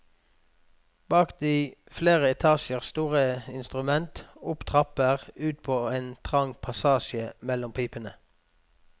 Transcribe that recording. Bak det flere etasjer store instrumentet, opp trapper, ut på en trang passasje mellom pipene.